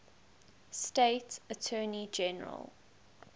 state attorney general